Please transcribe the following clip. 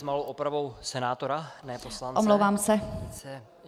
S malou opravou - senátora, ne poslance.